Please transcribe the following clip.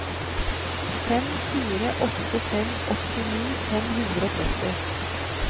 fem fire åtte fem åttini fem hundre og tretti